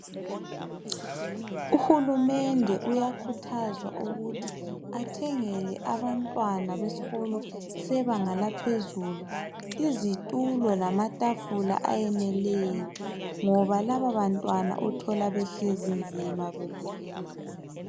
Uhulumende uyakhuthazwa ukuthi athengele abantwana besikolo sebanga laphezulu, izitulo lamatafula ayeneleyo, ngoba laba bantwana uthola behlezi nzima beminyene.